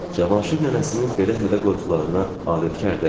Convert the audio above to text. Cavanşir nənəsinin belə hədə-qorxularına adətkar idi.